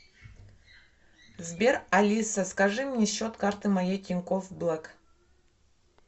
сбер алиса скажи мне счет карты моей тинькофф блэк